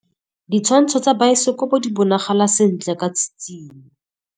Ditshwantshô tsa biosekopo di bonagala sentle ka tshitshinyô.